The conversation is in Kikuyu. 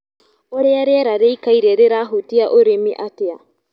ũrĩa riera rĩikaire rĩrahutia ũrĩmi atĩa.